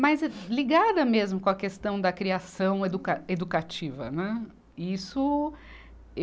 Mais ligada mesmo com a questão da criação educa, educativa, né. E isso